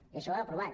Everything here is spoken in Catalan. i això ho hem aprovat